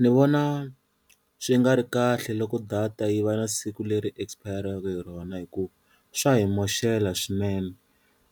Ni vona swi nga ri kahle loko data yi va na siku leri expire-raka hi rona hikuva swa hi maxela swinene,